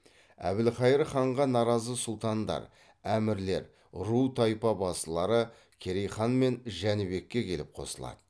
әбілхайыр ханға наразы сұлтандар әмірлер ру тайпа басылары керей хан мен жәнібекке келіп қосылады